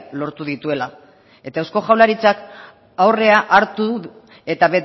lortu dituela eta eusko jaurlaritzak aurrea hartu du eta